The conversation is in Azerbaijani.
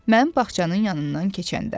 Mən bağçanın yanından keçəndə.